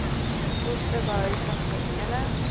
koste behuising formele